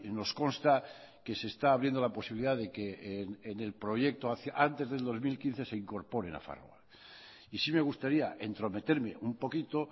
nos consta que se está abriendo la posibilidad de que en el proyecto antes del dos mil quince se incorpore nafarroa y sí me gustaría entrometerme un poquito